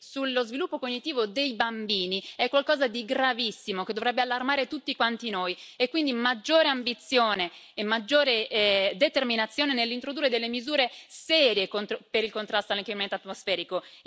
sullo sviluppo cognitivo dei bambini è qualcosa di gravissimo, che dovrebbe allarmare tutti quanti noi, e quindi maggiore ambizione e maggiore determinazione nell'introdurre misure serie per il contrasto all'inquinamento atmosferico.